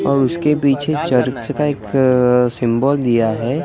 और उसके पीछे चर्च का एक सिम्बल दिया है।